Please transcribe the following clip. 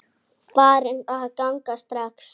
Farin að ganga strax!